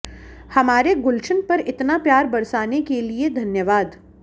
हमारे गुलशन पर इतना प्यार बरसाने के लिए धन्यवाद